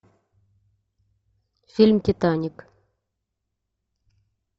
фильм титаник